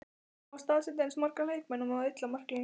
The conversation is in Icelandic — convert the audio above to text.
Má staðsetja eins marga leikmenn og maður vill á marklínu?